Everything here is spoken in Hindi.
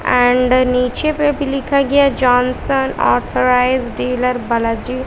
एंड नीचे पे भी लिखा गया जॉनसन ऑथराइज्ड डीलर बालाजी--